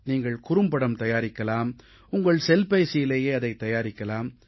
நீங்கள் குறும்படம் தயாரிக்கலாம் உங்கள் செல்பேசியிலேயே அதைத் தயாரிக்கலாம்